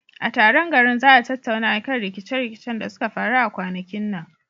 A taron garin za a tattauna akan rikice rikicen da suka faru a kwanakin nan.